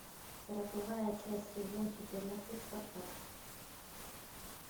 сороковая часть сезон четырнадцать спартак